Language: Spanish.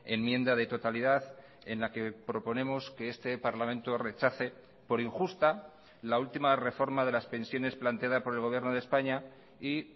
enmienda de totalidad en la queproponemos que este parlamento rechace por injusta la última reforma de las pensiones planteada por el gobierno de españa y